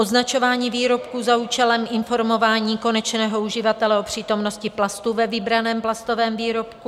Označování výrobků za účelem informování konečného uživatele o přítomnosti plastu ve vybraném plastovém výrobku.